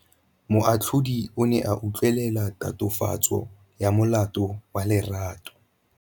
Moatlhodi o ne a utlwelela tatofatsô ya molato wa Lerato.